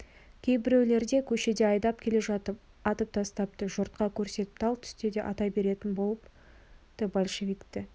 кейбіреулерді көшеде айдап келе жатып атып тастапты жұртқа көрсетіп тал түсте де ата беретін болыпты большевикті